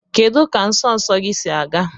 Kedu ka nsọ nsọ gị si aga?